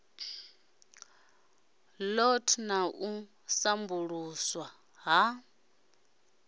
lot na u sambuluswa ha